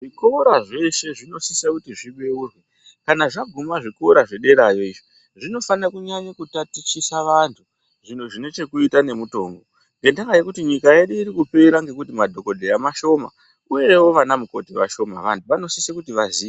Zvikora zveshe zvinosise kuti zvibeurwe. Kana zvavhurwa zvederayo zvinofanira kutatichisa vantu zvine chekuita ngezvemitombo ngekuti nyika yedu iri kupera ngenyaya yekuti nadhokodheya ma